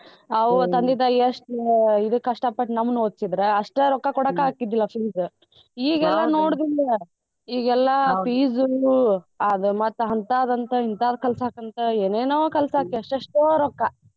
ತಂದೆ ತಾಯಿ ಎಷ್ಟ್ ಇದು ಕಷ್ಟಪಟ್ ನಮ್ನ್ ಒದ್ಸಿದ್ರ ಅಷ್ಟ ರೊಕ್ಕ ಕೊಡಾಕ್ ಆಕ್ಕಿದ್ದಿಲ್ಲಾ fees ಈಗೆಲ್ಲ ಈಗೆಲ್ಲಾ fees ಅದ್ ಮತ್ ಹಂತಾದಂತ ಹಿಂತಾದ್ ಕಲ್ಸಾಕಂತಾ ಏನೆನೋ ಕಲ್ಸಾಕ್ ಎಷ್ಟೆಷ್ಟೋ ರೊಕ್ಕ.